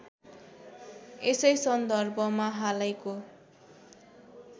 यसै सन्दर्भमा हालैको